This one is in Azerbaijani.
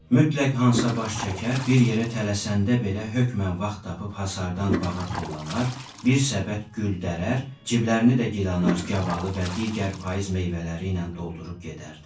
Mütləq Hansa baş çəkər, bir yerə tələsəndə belə hökmən vaxt tapıb hasardan bağa tullanar, bir səbət gül dərər, ciblərinə də gilənar, gavalı və digər payız meyvələri ilə doldurub gedərdi.